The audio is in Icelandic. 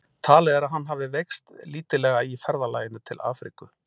Talið er að hann hafi veikst lítillega í ferðalaginu til Afríku.